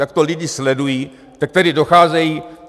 Jak to lidé sledují, tak tady docházejí.